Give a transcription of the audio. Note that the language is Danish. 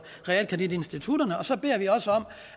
realkreditinstitutterne og så beder vi også om